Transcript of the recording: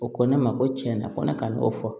O ko ne ma ko tiɲɛna ko ne ka n'o fɔ